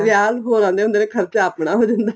ਵਿਆਹ ਤਾਂ ਹੋਰ ਆਉਦੇ ਹੁੰਦੇ ਨੇ ਖਰਚਾ ਆਪਣਾ ਹੋ ਜਾਂਦਾ ਏ